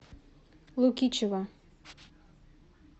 лукичева